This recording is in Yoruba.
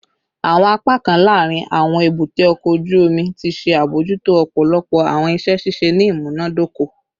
Awọn apakan laarin awọn ebute oko oju omi ti ṣe abojuto ọpọlọpọ awọn iṣẹ ṣiṣe ni imunadoko